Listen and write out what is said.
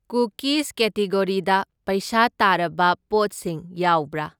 Cookies ꯀꯦꯇꯤꯒꯣꯔꯤꯗ ꯄꯩꯁꯥ ꯇꯥꯔꯕ ꯄꯣꯠꯁꯤꯡ ꯌꯥꯎꯕꯔ?